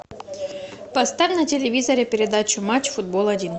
поставь на телевизоре передачу матч футбол один